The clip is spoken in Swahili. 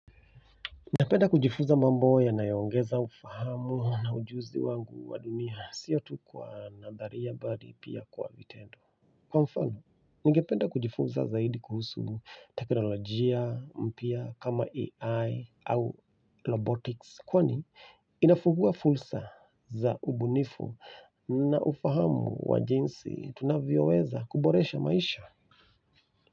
Napenda kujifunza mambo yanayoongeza ufahamu na ujuzi wangu wa dunia sio tu kwa nadharia badi pia kwa vitendo kwa mfano, ningependa kujifunza zaidi kuhusu teknolojia, mpya kama AI au robotics kwani, inafungua fursa za ubunifu na ufahamu wa jinsi tunavyoweza kuboresha maisha.